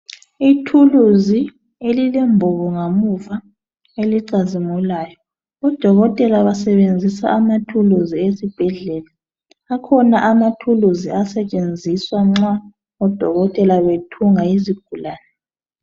Ithulusi elilemboko ngemuva elicazimulayo odokotela basebenzisa amatools esibhedlela akhona amathulusi asetshenziswa nxa odokotela bethunga izigulani